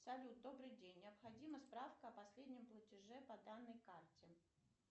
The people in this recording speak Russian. салют добрый день необходима справка о последнем платеже по данной карте